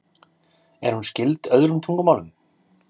Er hún skyld öðrum tungumálum?